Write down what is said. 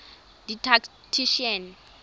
didactician